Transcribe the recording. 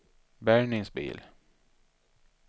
bärgningsbil